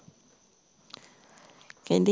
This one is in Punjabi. ਕਹਿੰਦੀ